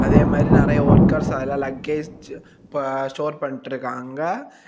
அதே மாறி நெறைய ஒர்க்கர்ஸ் அதுல லக்கேஜ் ப ஸ்டோர் பண்ட்ருக்காங்க.